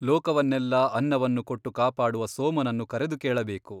ಲೋಕವನ್ನೆಲ್ಲಾ ಅನ್ನವನ್ನು ಕೊಟ್ಟು ಕಾಪಾಡುವ ಸೋಮನನ್ನು ಕರೆದು ಕೇಳಬೇಕು.